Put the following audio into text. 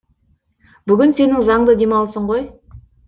бүгін сенің заңды демалысын ғой